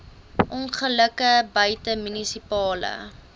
ongelukke buite munisipale